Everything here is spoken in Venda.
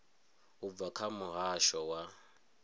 u bva kha muhasho wa